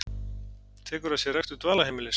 Tekur að sér rekstur dvalarheimilis